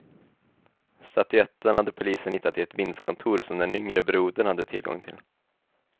Statyetten hade polisen hittat i ett vindskontor som den yngre brodern hade tillgång till.